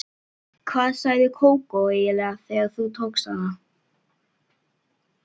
Hvað sagði Kókó eiginlega þegar þú tókst hana?